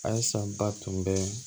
A ye san ba tun bɛ